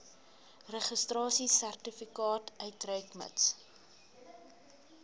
registrasiesertifikaat uitreik mits